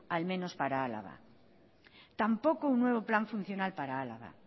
al menos para álava tampoco un nuevo plan funcional para álava